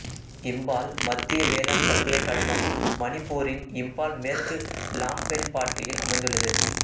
இம்பால் மத்திய வேளாண் பல்கலைக்கழகம் மணிப்பூரின் இம்பால் மேற்கு லாம்பெல்பாட்டில் அமைந்துள்ளது